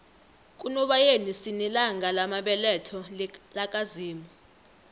kunobayeni sinelanga lamabeletho laka zimu